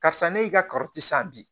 Karisa ne y'i ka san bi